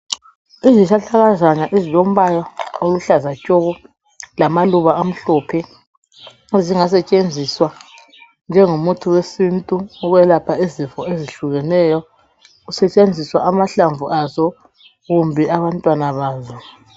Izihlahlakazana ezilombala oluhlaza tshoko lamaluba amhlophez ezingasetshenziswa njengomuthi wesintu wokwelapha izifo ezihlukeneyo, kusetshenziswa amahlamvu azo kumbe abantwana bazo.